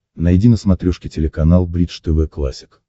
найди на смотрешке телеканал бридж тв классик